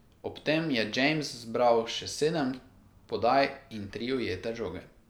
Ob tem je James zbral še sedem podaj in tri ujete žoge.